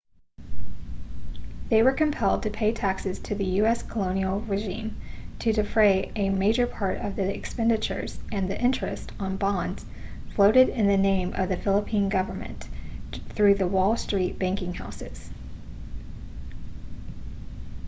they were compelled to pay taxes to the u.s. colonial regime to defray a major part of the expenditures and the interest on bonds floated in the name of the philippine government through the wall street banking houses